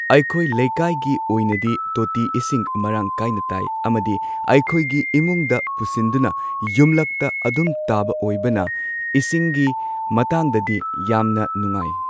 ꯑꯩꯈꯣꯏ ꯂꯩꯀꯥꯏꯒꯤ ꯑꯣꯏꯅꯗꯤ ꯇꯣꯇꯤ ꯏꯁꯤꯡ ꯃꯔꯥꯡ ꯀꯥꯏꯅ ꯇꯥꯏ꯫ ꯑꯃꯗꯤ ꯑꯩꯈꯣꯏꯒꯤ ꯏꯃꯨꯡꯗ ꯄꯨꯁꯤꯟꯗꯨꯅ ꯌꯨꯝꯂꯛꯇ ꯑꯗꯨꯝ ꯇꯥꯕ ꯑꯣꯏꯕꯅ ꯏꯁꯤꯡꯒꯤ ꯃꯇꯥꯡꯗꯗꯤ ꯌꯥꯝꯅ ꯅꯨꯉꯥꯏ꯫